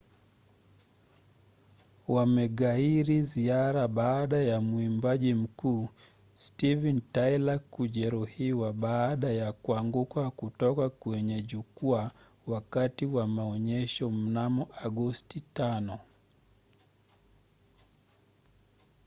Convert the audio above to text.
wameghairi ziara baada ya mwimbaji mkuu steven tyler kujeruhiwa baada ya kuanguka kutoka kwenye jukwaa wakati wa maonyesho mnamo agosti 5